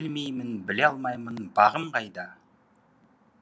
білмеймін біле алмаймын бағым қайда